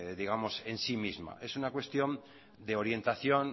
en sí misma es una cuestión de orientación